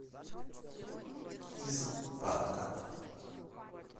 из банка